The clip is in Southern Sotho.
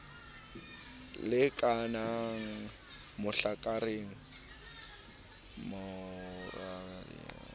lekanang mahlakoreng a mabedi a